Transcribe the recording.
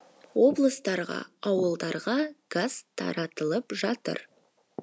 облыстарға ауылдарға газ тартылып жатыр